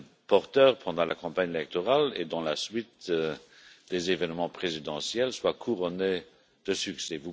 portée pendant la campagne électorale et dans la suite des événements présidentiels soit couronnée de succès.